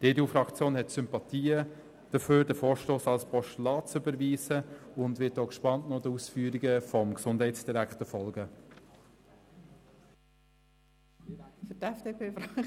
Die EDU-Fraktion hat Sympathien für die Überweisung des Vorstosses als Postulat und wird den Ausführungen des Gesundheitsdirektors gespannt folgen.